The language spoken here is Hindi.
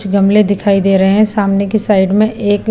गमले दिखाई दे रहे हैं सामने की साइड में एक--